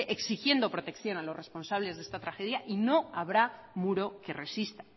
exigiendo protección a los responsables de esta tragedia y no habrá muro que resista